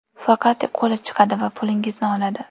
Faqat qo‘li chiqadi va pulingizni oladi.